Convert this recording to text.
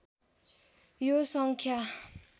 यो सङ्ख्या